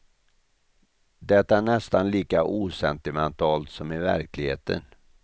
Det är nästan lika osentimentalt som i verkligheten.